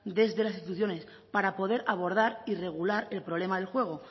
desde las instituciones para poder abordar y regular el problema del juego